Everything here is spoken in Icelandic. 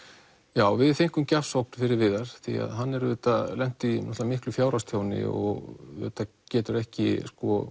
já við fengum gjafsókn fyrir Viðar því að hann auðvitað lenti í miklu fjárhagstjóni og auðvitað getur ekki